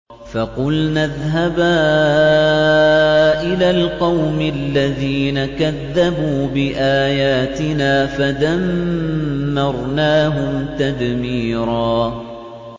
فَقُلْنَا اذْهَبَا إِلَى الْقَوْمِ الَّذِينَ كَذَّبُوا بِآيَاتِنَا فَدَمَّرْنَاهُمْ تَدْمِيرًا